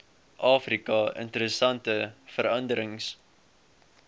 afrika interessante veranderings